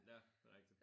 Ja. Det er rigtigt